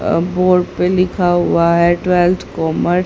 आ board पे लिखा हुआ है ट्वेल्थ कॉमर्स ।